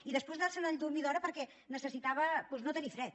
i després anar se’n a dormir d’hora perquè necessitava doncs no tenir fred